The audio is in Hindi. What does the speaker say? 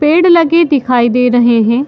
पेड़ लगे दिखाई दे रहें हैं।